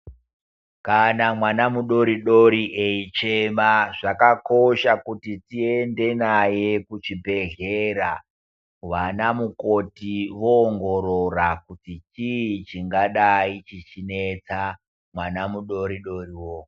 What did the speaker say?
Kana mwana mudori-dori eichema zvakakosha kuti tiende maye kuchibhedhlera. Aana mukoti voongorora kuti chiichingadai chichi netsa mwana mudori-dorowo